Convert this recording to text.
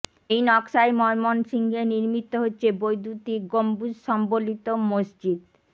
এই নকশায় ময়মনসিংহে নির্মিত হচ্ছে বৈদ্যুতিক গম্বুজ সম্বলিত মসজিদ